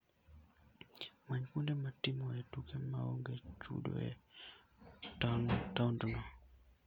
Many kuonde mitimoe tuke maonge chudo e taondno.